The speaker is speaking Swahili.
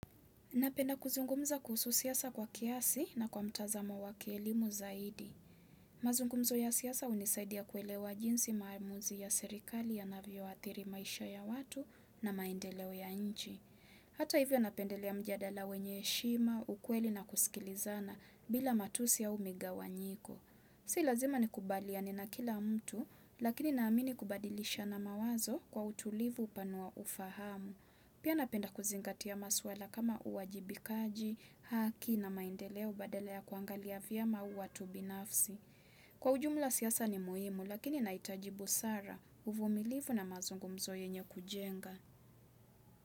Napenda kuzungumza kuhusu siasa kwa kiasi na kwa mtazamo wa kielimu zaidi. Mazungumzo ya siasa hunisaidia kuelewa jinsi maamuzi ya serikali yanavyoathiri maisha ya watu na maendeleo ya nchi. Hata hivyo napendelea mjadala wenye heshima, ukweli na kusikilizana bila matusi au migawanyiko. Si lazima nikubaliane na kila mtu, lakini naamini kubadilishana mawazo kwa utulivu hupanua ufahamu. Pia napenda kuzingatia maswala kama uwajibikaji, haki na maendeleo badala kuangalia vyama au watu binafsi. Kwa ujumula siasa ni muhimu lakini nahitaji busara uvumilivu na mazungumzo yenye kujenga.